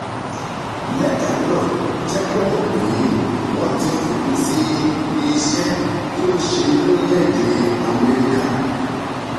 lẹ́tà náà jẹ́ kó mọ̀ pé wọ́n ti fòpin sí iṣẹ́ tó ń ṣe lórílẹ̀-èdè amẹ́ríkà